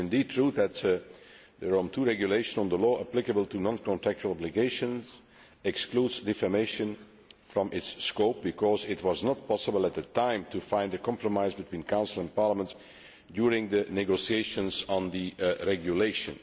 It is indeed true that the Rome II Regulation on the law applicable to non contractual obligations excludes defamation from its scope, because it was not possible at the time to find a compromise between Council and Parliament during the negotiations on the regulation.